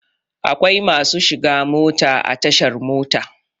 Akwai masu shiga mota a tashar mota.